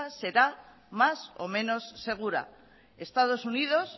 será más o menos segura estados unidos